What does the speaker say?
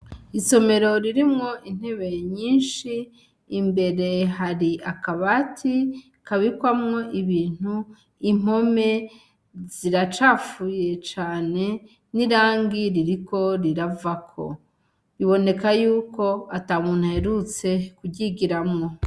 Isomero ririmwo intebe nyinshi imbere hari akabati kabikwamwo ibintu impome ziracafuye cane n'irangi ririko riravako, biboneka yuko atamuntu aherutse kuryigiramwo.